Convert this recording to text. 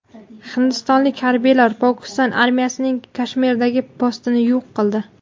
Hindistonlik harbiylar Pokiston armiyasining Kashmirdagi postini yo‘q qildi.